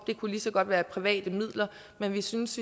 det kunne lige så godt være private midler men vi synes